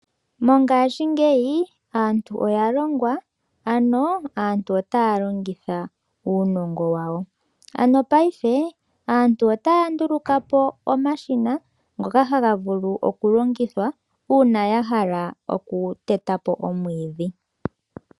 Mongashingeyi aantu oya longwa. Ano aantu otaya longitha uunogo wawo. Ano paife aantu otaya ndulukapo omashina ngoka haga vulu oku longa una ya hala oku teta po omwiidhi.